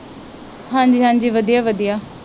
ਹਾਂਜੀ ਹਾਂਜੀ ਵਧੀਆ ਵਧੀਆ।